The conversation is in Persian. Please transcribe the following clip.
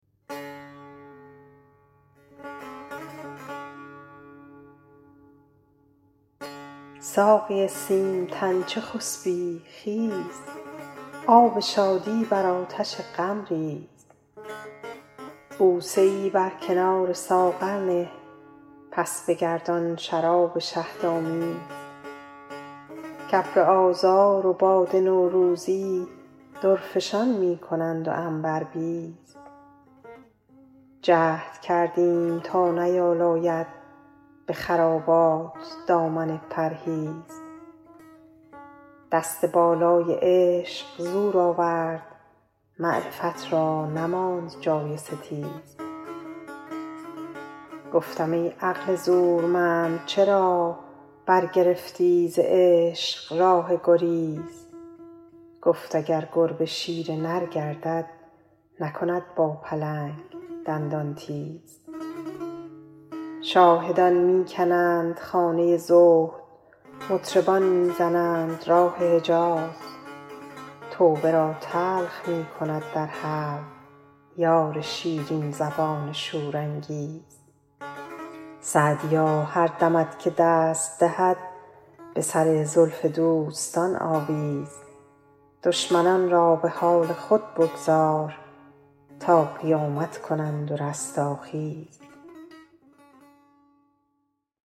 ساقی سیم تن چه خسبی خیز آب شادی بر آتش غم ریز بوسه ای بر کنار ساغر نه پس بگردان شراب شهدآمیز کابر آذار و باد نوروزی درفشان می کنند و عنبربیز جهد کردیم تا نیالاید به خرابات دامن پرهیز دست بالای عشق زور آورد معرفت را نماند جای ستیز گفتم ای عقل زورمند چرا برگرفتی ز عشق راه گریز گفت اگر گربه شیر نر گردد نکند با پلنگ دندان تیز شاهدان می کنند خانه زهد مطربان می زنند راه حجیز توبه را تلخ می کند در حلق یار شیرین زبان شورانگیز سعدیا هر دمت که دست دهد به سر زلف دوستان آویز دشمنان را به حال خود بگذار تا قیامت کنند و رستاخیز